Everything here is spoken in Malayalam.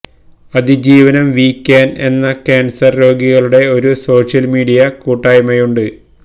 അതിജീവനം വീ ക്യാൻ എന്ന കാൻസർ രോഗികളുടെ ഒരു സോഷ്യൽ മീഡിയ കൂട്ടായ്മയുണ്ട്